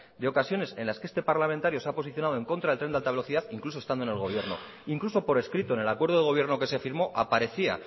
de ocasiones en las que este parlamentario se ha posicionado en contra del tren de alta velocidad incluso estando en el gobierno incluso por escrito en el acuerdo de gobierno que se firmó aparecía